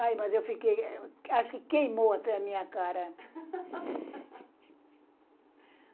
Ai, mas eu fiquei... Acho que queimou até a minha cara.